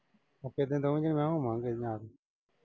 ਪੱਕੇ ਦਿਨ ਆਉਣਗੀਆਂ। ਮੈਂ ਕਿਹਾ ਹੋਵਾਂਗੇ ਇਹਦੇ ਨਾਲ।